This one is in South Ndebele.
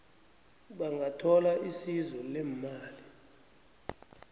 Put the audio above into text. bangathola isizo leemali